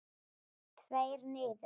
Tveir niður?